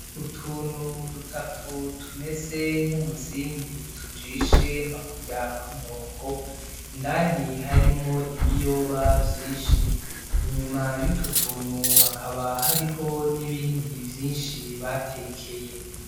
Utuntu dutatu tumeze nk'umuzingi tujishe nka kurya kw'inkoko, indani harimwo ibiyoba vyinshi inyuma. Inyuma Yutwo tuntu hakaba hariho n'ibindi vyinshi batekeye.